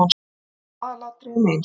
Þau eru í aðalatriðum eins.